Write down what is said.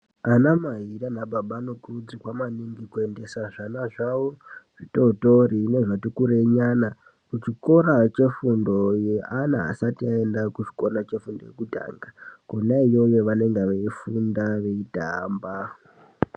Ana mai nana baba anokurudzirwa maningi kuendesa zvana zvawo zvitotori nezvati kurei nyana kuchikora chefundo cheana asati aenda kuchikora chefundo yekutanga Kona iyoyo vanenge veifunda veitamba.